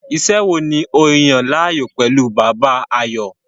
Iṣẹ́ wo ni o yàn láàyò pẹ̀lú Bàbá, Ayọ̀?